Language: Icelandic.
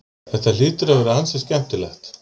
Þetta hlýtur að vera ansi skemmtilegt?